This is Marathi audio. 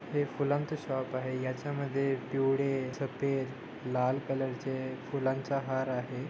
हे फुलांच शॉप आहे याच्यामध्ये पिवळे सफ़ेद लाल कलर चे फुलांचा हार आहे.